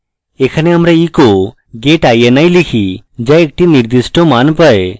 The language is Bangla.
এখানে আমরা echo get ini লিখি যা একটি নির্দিষ্ট মান পায়